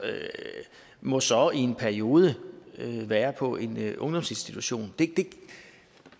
må så i en periode være på en ungdomsinstitution